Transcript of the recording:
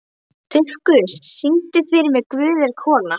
Dufgus, syngdu fyrir mig „Guð er kona“.